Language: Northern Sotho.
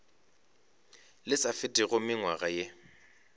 le sa fetego mengwaga ye